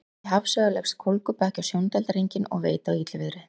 Útí hafsauga leggst kólgubakki á sjóndeildarhringinn og veit á illviðri.